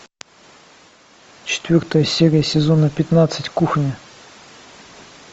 четвертая серия сезона пятнадцать кухня